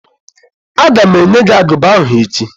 Aga m enye gị agụba ahụ echi